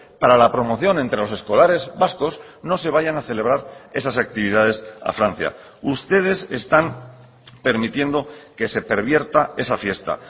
para la promoción entre los escolares vascos no se vayan a celebrar esas actividades a francia ustedes están permitiendo que se pervierta esa fiesta